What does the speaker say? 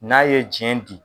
N'a ye jiyɛn di